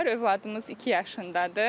Övladımız iki yaşındadır.